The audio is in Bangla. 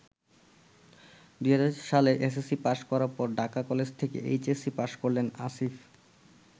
২০০০ সালে এসএসসি পাস করার পর ঢাকা কলেজ থেকে এইচএসসি পাস করেন আসিফ।